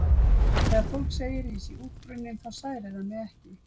Þegar fólk segir að ég sé útbrunninn þá særir það mig ekki.